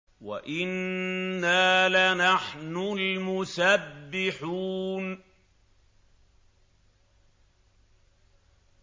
وَإِنَّا لَنَحْنُ الْمُسَبِّحُونَ